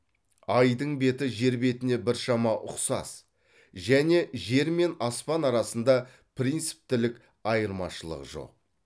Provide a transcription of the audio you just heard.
айдың беті жер бетіне біршама ұқсас және жер мен аспан арасында принциптілік айырмашылық жоқ